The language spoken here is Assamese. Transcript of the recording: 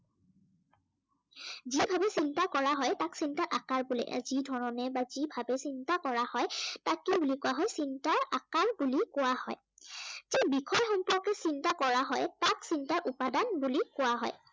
যি ভাবি চিন্তা কৰা হয় তাক চিন্তাৰ আকাৰ বোলে। আৰু যি ধৰনে বা যি ভাবে চিন্তা কৰা হয় তাক কি বুলি কোৱা হয়, তাক চিন্তাৰ আকাৰ বুলি কোৱা হয়। যি বিষয় সম্পৰ্কে চিন্তা কৰা হয় তাক চিন্তাৰ উপাদান বুলি কোৱা হয়।